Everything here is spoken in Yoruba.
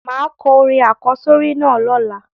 Máà ko orin àkósórí náà lọ́la